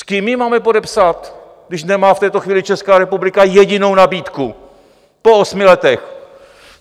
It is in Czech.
S kým ji máme podepsat, když nemá v této chvíli Česká republika jedinou nabídku po osmi letech?